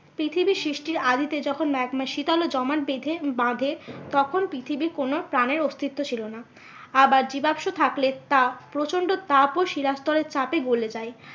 পৃথিবী সৃষ্টির আদিতে যখন ম্যাগমা শীতল তো জমাট বেঁধে, বাঁধে তখন পৃথিবীর কোনো প্রাণের অস্তিত্ব ছিল না। আবার জীবাশ্ম থাকলে তা প্রচন্ড তাপ ও শিলা স্তরের চাপে গোলে যায়।